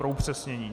Pro upřesnění.